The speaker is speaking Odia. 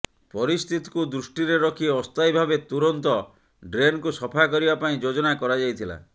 ପରିସ୍ଥିତିକୁ ଦୃଷ୍ଟିରେ ରଖି ଅସ୍ଥାୟୀ ଭାବେ ତୁରନ୍ତ ଡ୍ରେନ୍କୁ ସଫା କରିବା ପାଇଁ ଯୋଜନା କରାଯାଇଥିଲା